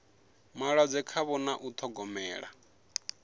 malwadze khavho na u ṱhogomela